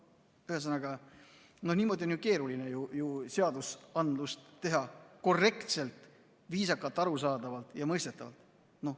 Ühesõnaga, niimoodi on ju keeruline seadust teha korrektselt, viisakalt, arusaadavalt ja mõistetavalt.